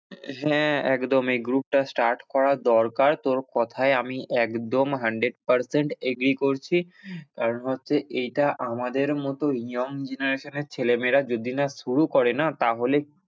হ্যাঁ, একদম এই group টা start করা দরকার তোর কোথায় আমি একদম hundred percent, agree করছি, কারণ হচ্ছে এইটা আমাদের মতো young generation এর ছেলে মেয়েরা যদি না শুরু করে না তাহলে,